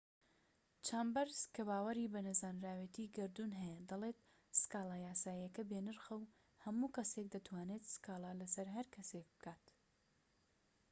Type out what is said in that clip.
چامبەرس کە باوەری بە نەزانراوێتی گەردوون هەیە دەڵێت سكالا یاساییەکە بێ نرخە و هەموو کەسێك دەتوانێت سکاڵا لەسەر هەرکەسێك بکات